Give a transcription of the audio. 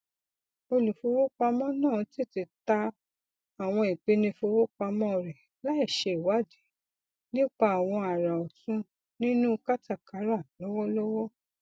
olùfowópamọ náà tètè ta àwọn ìpínìfowópamọ rẹ láìṣe ìwádìí nípa àwọn àrà ọtun nínú kátàkárà lọwọlọwọ